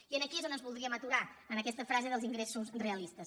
i aquí és on ens voldríem aturar en aquesta frase dels ingressos realistes